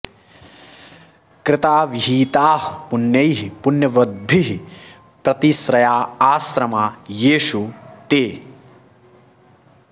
कृता विहिताः पुण्यैः पुण्यवद्भिः प्रतिश्रया आश्रमा येषु ते